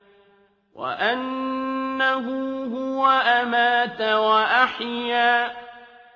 وَأَنَّهُ هُوَ أَمَاتَ وَأَحْيَا